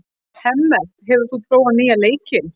Hemmert, hefur þú prófað nýja leikinn?